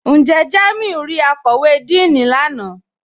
Njẹ́ Jàmíù rí àkọ́wé Díìní lánà?